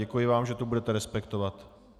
Děkuji vám, že to budete respektovat.